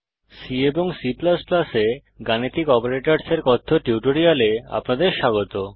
C এবং C এ গাণিতিক অপারেটরসের কথ্য টিউটোরিয়ালে আপনাদের স্বাগত